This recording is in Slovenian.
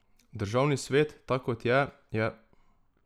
Državni svet, tak kot je, je...